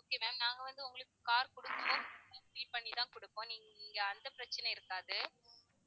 okay maam நாங்க வந்து உங்களுக்கு car குடுக்கும் போது tank fill பண்ணி தான் குடுப்போம் நீங்க இங்க அந்த பிரச்சனை இருக்காது